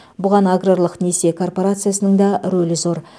бұған аграрлық несие коорпорациясының да рөлі зор